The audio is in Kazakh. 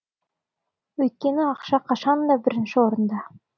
өйткені ақша қашанда бірінші орында